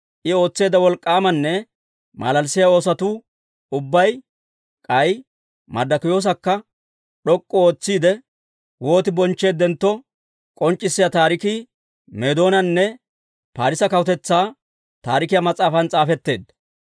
I ootseedda wolk'k'aamanne malalissiyaa oosotuu ubbay, k'ay Marddokiyoosakka d'ok'k'u ootsiide, wooti bonchcheeddentto k'onc'c'issiyaa taarikii Meedoonanne Parisse Kawutetsaa Taarikiyaa mas'aafan s'aafetteedda.